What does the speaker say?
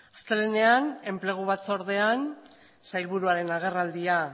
astelehenean enplegu batzordean sailburuaren agerraldia